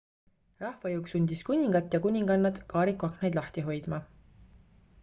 rahvajõuk sundis kuningat ja kuningannat kaariku aknaid lahti hoidma